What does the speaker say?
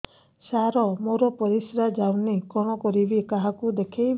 ସାର ମୋର ପରିସ୍ରା ଯାଉନି କଣ କରିବି କାହାକୁ ଦେଖେଇବି